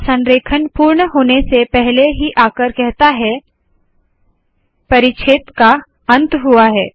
यह संरेखण पूर्ण होने के पहले ही आकर कहता है परिच्छेद का अंत हुआ है